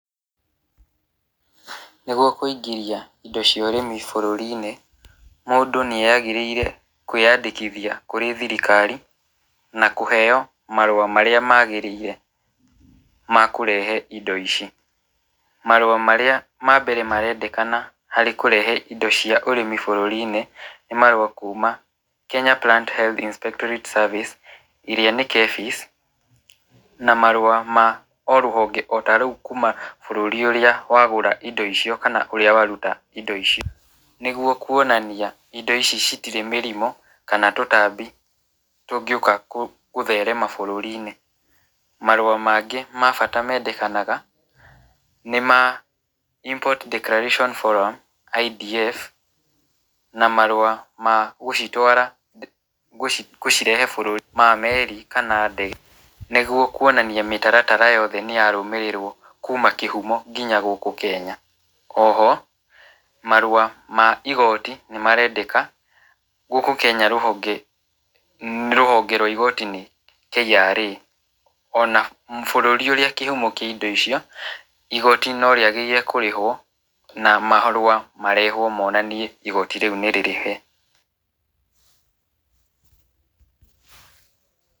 Nĩgwo kũingĩria indo cia ũrĩmi bũrũri-inĩ, mũndũ nĩ agĩrĩire kwĩyandĩkithia kũrĩ thirikari na kũheo marũa marĩa magĩrĩire, makũrehe indo ici , marua marĩa ma mbere marendekana, harĩ kũrehe indo cia ũrĩmi bũrũri-inĩ, nĩ marua kuma Kenya Plant Inspectory Service ĩrĩa nĩ KEPIS , na marua ma rũhonge ota rũu kuma bũrũri ũrĩa wagũra indo ici kana kũrĩa waruta indo icio, nĩgwo kwonania indo ici citire mĩrimũ, kana tũtambi tũngĩũka kũtherema bũrũri-inĩ, marua mangĩ ma bata mandekanaga nĩma Import Declaration Follower IDF, na marua magũcitwara cũgirehe bũrũri na meri kana ndege, nĩgwo kwonania mĩtaratara yothe nĩ ya rũmĩrĩrwo kuma kĩhumo nginya gũkũ kenya, oho marua ma igoti nĩ marendeka gũkũ kenya rũhonge nĩ rũhonge rwa igoti-inĩ KRA ona bũrũri ũrĩa kĩhumo kĩa indo icio , igoti no rĩagĩrĩirwo kũrĩhwo na marua marehwo ũmonanie nĩ igoti rĩu nĩ rĩrĩhe.